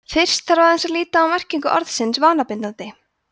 fyrst þarf aðeins að líta á merkingu orðsins „vanabindandi“